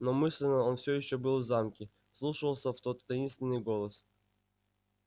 но мысленно он всё ещё был в замке вслушивался в тот таинственный голос